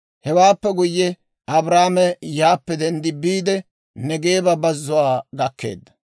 Hewaappe guyye, Abraame yaappe denddi biide Neegeeba bazzuwaa gakkeedda.